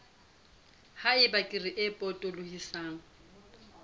ha eba kere e potolohisang